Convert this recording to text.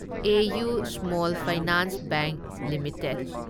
AU small finance bank limited